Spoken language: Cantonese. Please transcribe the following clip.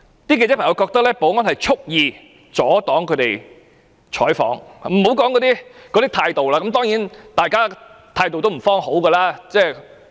記者認為保安人員畜意阻擋他們採訪，我也不說甚麼態度了，當然大家那時的態度一定不會良好。